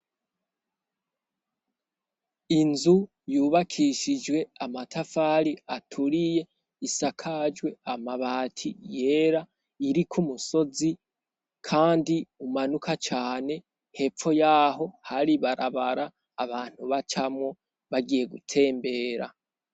Inzu yubakishijwe amatafari aturiye isakajwe amabati yera iriko umusozi, kandi umanuka cane hepfo y'aho hari barabara abantu bacamwo bagiye gutembera.